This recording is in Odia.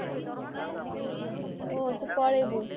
ଓ ତୁ ପଳେଇବୁ